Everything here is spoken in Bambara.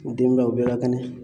U den baw u bɛɛ ka kɛnɛ